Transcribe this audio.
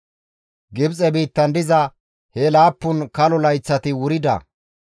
Gibxe biittan diza he laappun kalo layththati wurida.